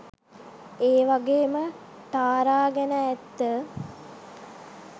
ඒවගේම ටාරා ගැන ඇත්ත